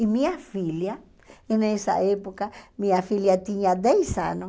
E minha filha, nessa época, minha filha tinha dez anos.